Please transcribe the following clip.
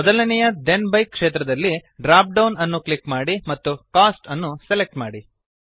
ಮೊದಲನೆಯ then by ಕ್ಷೇತ್ರದಲ್ಲಿ drop down ಅನ್ನು ಕ್ಲಿಕ್ ಮಾಡಿ ಮತ್ತು Costಅನ್ನು ಸೆಲೆಕ್ಟ್ ಮಾಡಿ